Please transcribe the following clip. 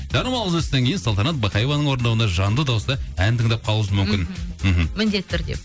жарнамалық үзілістен кейін салтанат бақаеваның орындауында жанды дауысты ән тыңдап қалуымыз мүмкін мхм мхм міндетті түрде